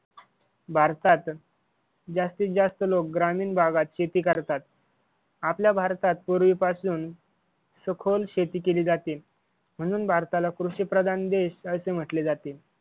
भारतात जास्तीत जास्त लोक ग्रामीण भागात शेती करतात. आपल्या भारतात पूर्वीपासून सखोल शेती केली जाते म्हणून भारताला कृषी प्रधान देश असे म्हटले जाते.